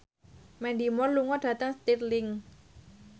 Mandy Moore lunga dhateng Stirling